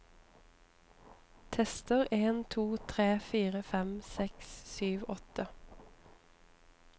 Tester en to tre fire fem seks sju åtte